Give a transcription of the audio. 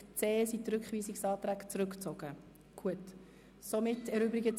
Diesen Rednern stehen je 5 Minuten Redezeit zur Verfügung.